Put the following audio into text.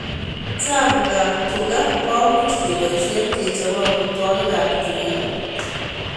Chapuk ab tuga ko much keboishe kechope amitwogik ab tuga